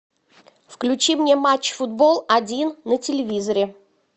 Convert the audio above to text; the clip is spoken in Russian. включи мне матч футбол один на телевизоре